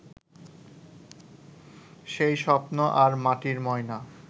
সেই স্বপ্ন আর মাটির ময়না